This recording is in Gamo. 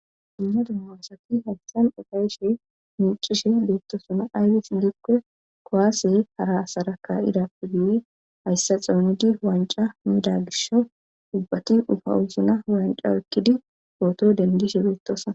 Dimnadu maaosati hayssan oqayshe miicishe beettosuna ayfis gikke koaase hara saraka idappe guye hayssa xoonidi wanca mida girsho dubbati ufa usuna wanca ekkidi ooto dendishe beetosa.